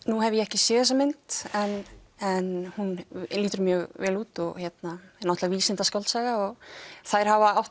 nú hef ég ekki séð þessa mynd en hún lítur mjög vel út náttúrulega vísindaskáldsaga og þær hafa átt